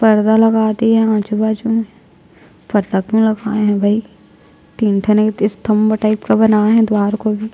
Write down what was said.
पर्दा लगा दिए है आजु-बाजु मे पर्दा क्यों लगवाए है भई तीन ठने स्तम्भ टाइप का बनाए हैं द्वार को भी--